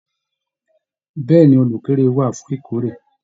Bẹ̀ẹ́ni, olukórè wà fún ìkórè.